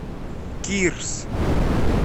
кирс